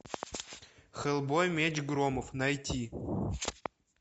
хеллбой меч громов найти